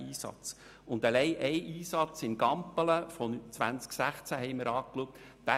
Wir schauten uns den Einsatz von Gampelen im Jahr 2016 an.